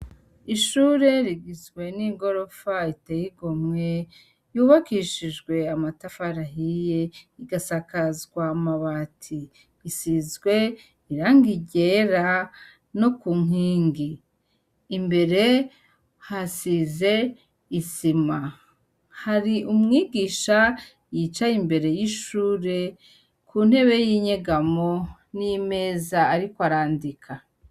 Ishure rigizwe nigorofa iteye igomwe, yubakishijwe amatafari ahiye , igasakazwa amabati. Isizwe irangi ryera no ku nkingi, imbere hasize isima. Hari umwigisha yicaye imbere y'ishure kuntebe y'inyegamo n'imeza arikw' arandika.